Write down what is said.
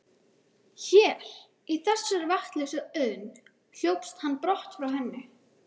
Hér, í þessari vatnslausu auðn, hljópst hann brott frá henni.